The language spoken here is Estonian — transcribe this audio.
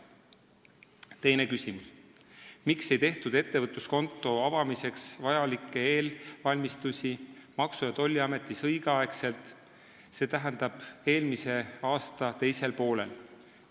Teine küsimus: "Miks ei tehtud ettevõtluskonto avamiseks vajalikke ettevalmistusi Maksu- ja Tolliametis õigeaegselt, st eelmise aasta teisel poolel?